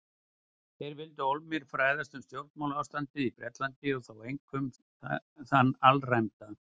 Þeir vildu ólmir fræðast um stjórnmálaástandið í Bretlandi- og þá einkum þann alræmda